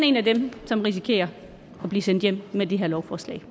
en af dem som risikerer at blive sendt hjem med det her lovforslag